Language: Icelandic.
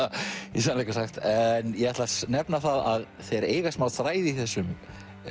í sannleika sagt en ég ætla að nefna það að þeir eiga smá þræði í þessum